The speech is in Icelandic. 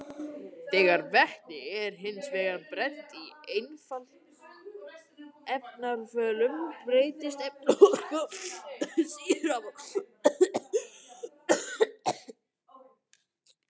Þegar vetni er hins vegar brennt í efnarafölum breytist efnaorka þess í raforku.